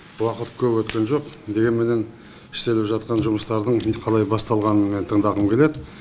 уақыт көп өткен жоқ дегенменен істеліп жатқан жұмыстардың мен қалай басталғанын мен тыңдағым келеді